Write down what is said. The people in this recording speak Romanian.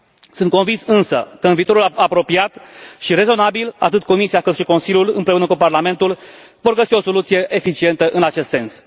Sunt convins însă că, în viitorul apropiat și rezonabil, atât Comisia, cât și Consiliul, împreună cu Parlamentul vor găsi o soluție eficientă în acest sens.